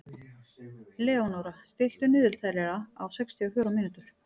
Leónóra, stilltu niðurteljara á sextíu og fjórar mínútur.